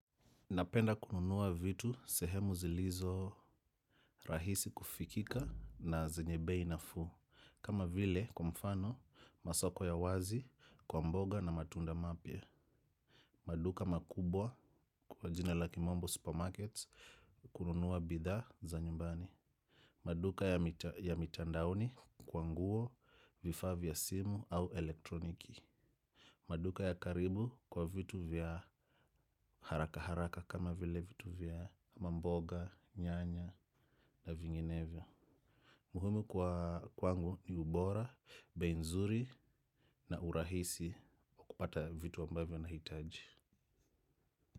Napenda kununua vitu sehemu zilizo rahisi kufikika na zenye bei nafuu. Kama vile kwamfano masoko ya wazi kwa mboga na matunda mapya. Maduka makubwa kwa jina la kimombo supermarkets kununuwa bidhaa za nyumbani. Maduka ya mitandaoni kwa nguo vifaa vya simu au elektroniki. Maduka ya karibu kwa vitu vya haraka haraka kama vile vitu vya mamboga, nyanya na vinginevyo. Muhimu kwangu ni ubora, bei nzuri na urahisi kupata vitu ambavyo nahitaji.